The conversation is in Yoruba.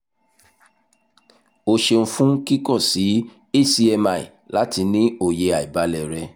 o ṣeun fun kikọ si hcmi lati ni oye aibalẹ rẹ